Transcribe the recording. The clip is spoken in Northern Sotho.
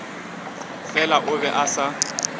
fela o be a sa